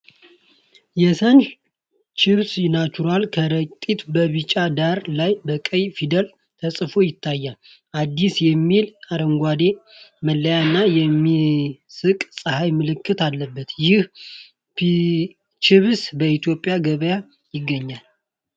የ "Sun Chips Natural" ከረጢት በቢጫ ዳራ ላይ በቀይ ፊደላት ተጽፎ ይታያል፣ "አዲስ" የሚል አረንጓዴ መለያ እና የሚስቅ ፀሐይ ምልክት አለበት። ይህ ቺፕስ በኢትዮጵያ ገበያ ይገኛል?